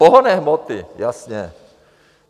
Pohonné hmoty, jasně.